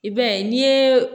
I b'a ye n'i ye